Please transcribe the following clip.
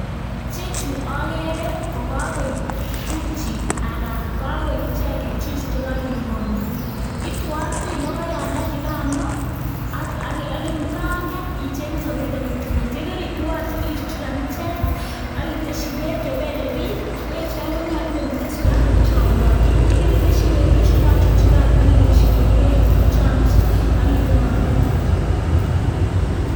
Ichechu okere ko kokoib uchi ara kakoib ichek juice chekokinde kikombet, ituotui lokoyandanikano ak mukanget icheng'e soburiet ak ituatui, yekeritui ichukchukan ichek ak itesyi beek chebelebik, beechon konyolu komiten sukaruk cheyomotin, yekeriteshi beek ichulochul chukan ak iteshi chuu kokeucholuch ak inde ikombet.